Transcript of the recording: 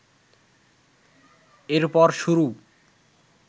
এরপর শুরু